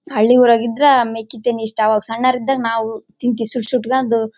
ಹಳ್ಳಿ ಊರಗೆ ಇದ್ರ ಮೆಕ್ಕೆ ತಿನ್ನಿ ಇಷ್ಟ ಅವಾಗ್ ಸಣ್ಣವರು ಇದ್ದಾಗ ನಾವು ತಿಂದ್ವಿ ಸೂಟ್ ಸುಟ್ಕೊಂಡು --